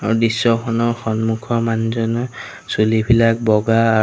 আৰু দৃশ্যখনৰ সন্মুখৰ মানুহজনে চুলিবিলাক বগা আৰু--